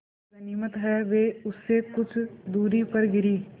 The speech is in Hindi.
गनीमत है वे उससे कुछ दूरी पर गिरीं